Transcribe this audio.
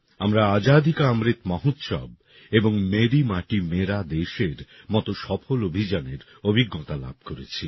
আমরা আজাদি কা অমৃত মহোৎসব এবং মেরি মাটি মেরা দেশএর মতো সফল অভিযানের অভিজ্ঞতা লাভ করেছি